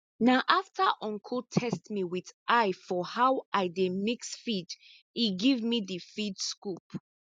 na after uncle test me with eye for how i dey mix feed e give me di feed scoop